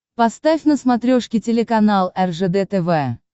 поставь на смотрешке телеканал ржд тв